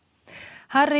Harry